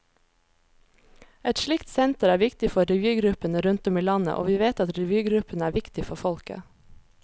Et slikt senter er viktig for revygruppene rundt om i landet, og vi vet at revygruppene er viktige for folket.